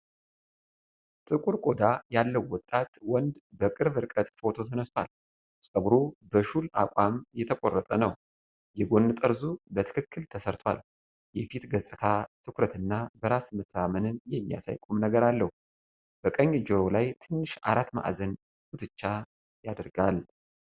ጥቁር ቆዳ ያለው ወጣት ወንድ በቅርብ ርቀት ፎቶ ተነስቷል። ፀጉሩ በሹል አቋም የተቆረጠ ነው፣ የጎን ጠርዙ በትክክል ተሰርቷል። የፊቱ ገጽታ፣ ትኩረት እና በራስ መተማመንን የሚያሳይ ቁምነገር አለው። በቀኝ ጆሮው ላይ ትንሽ አራት ማዕዘን ጉትቻ ያደርጋል።